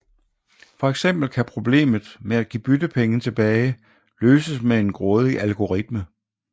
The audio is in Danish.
For eksempel kan problemet med at give byttepenge tilbage løses med en grådig algoritme